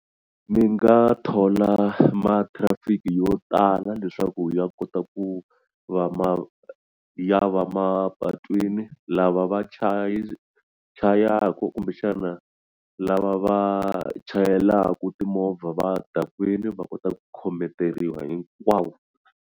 Ni nga thola ma-traffic-i yo tala leswaku ya kota ku va ma ya va mapatwini lava va chayaku kumbexana lava va chayelaku timovha va dakwini va kota ku khometeriwa hinkwavo.